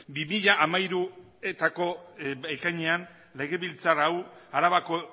bi mila hamairuko ekainean legebiltzar hau arabako